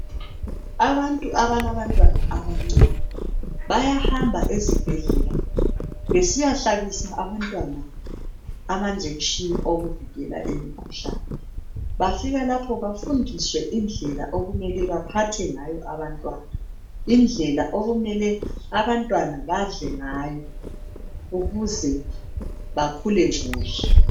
Abantu abalabantwana abancane bayahamba ezibhedlela besiyahlabisa abantwana ama injection wokuvikela imikhuhlane. Bafika lapho bafundiswe indlela okumele baphathe ngayo abantwana, indlela okumele abantwana badle ngayo ukuze bakhule kuhle.